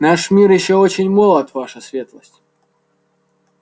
наш мир ещё очень молод ваша светлость